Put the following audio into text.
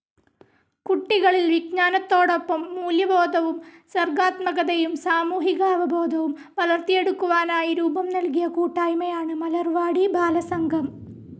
കുട്ടികളിൽ വിജ്ഞാനത്തോടൊപ്പം മൂല്യബോധവും സർഗാത്മകതയും സാമൂഹികാവബോധവും വളർത്തിയെടുക്കുവാനായി രൂപം നൽകിയ കൂട്ടായ്മയാണ് മലർവാടി ബാലസംഘം.